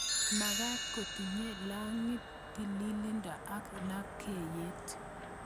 Magat kotinye lalngiet, tililndo ak lapkeyet